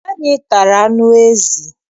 Anyị tara anụ ezi.